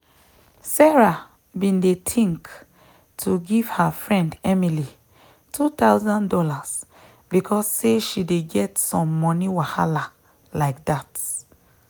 sarah been dey think to give her friend emily two thousand dollars because say she dey get some moni wahala like that.